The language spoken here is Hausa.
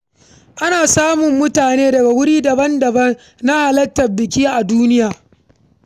Ana samun mutane daga wuri daban-daban na halartar biki a duniya.